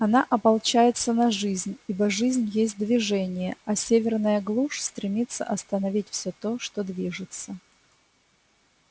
она ополчается на жизнь ибо жизнь есть движение а северная глушь стремится остановить всё то что движется